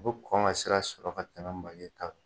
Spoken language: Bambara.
U bɛ kɔn ka sira sɔrɔ ka tamɛn make ta kan.